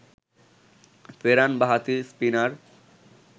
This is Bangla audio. ফেরান বাঁহাতি স্পিনার